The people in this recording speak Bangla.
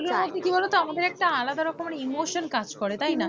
এগুলো মধ্যে কি বলো তো আমাদের একটা আলাদা রকমের emotion কাজ করে, তাই না,